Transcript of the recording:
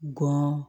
Gɔn